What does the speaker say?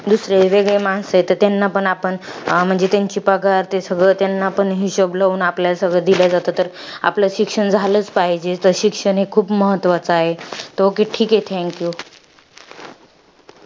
दुसरी वेगळी माणसं आहेत तर त्यांना पण आपण, म्हंजी त्यांची पगार ते सगळं त्यांना आपण हिशोब लावून आपल्याला सगळं दिलं जातं तर, आपलं शिक्षण झालंच पाहिजे. तर शिक्षण हे खूप महत्वाच आहे. तो okay ठीके. Thank you